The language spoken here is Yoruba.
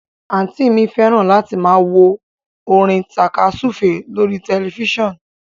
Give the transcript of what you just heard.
Àǹtí i mi fẹ́ràn láti máa wo orin tàka súfèé lórí tẹ̀lifísàn